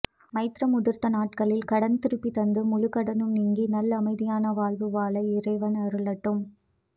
மைத்ர முகூர்த்தம் நாட்களில் கடன் திருப்பி தந்து முழகடனும் நீங்கி நல்அமைதியான வாழ்வு வாழ இறைவன் அருளட்டும்